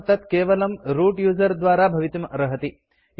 परं तत् केवलं रूत् यूजर द्वारा भवितुम् अर्हति